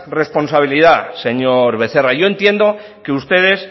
responsabilidad señor becerra yo entiendo que ustedes